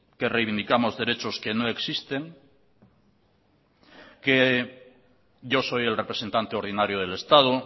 que reivindicamos derechos que no existen que yo soy el representante ordinario del estado